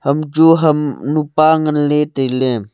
enu chu ham nu pa nganle taile.